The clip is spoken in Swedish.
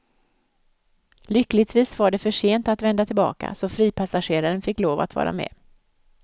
Lyckligtvis var det för sent att vända tillbaka, så fripassageraren fick lov att vara med.